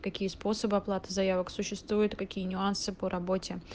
какие способы оплаты заявок существуют какие нюансы по работе